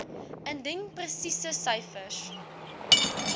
indien presiese syfers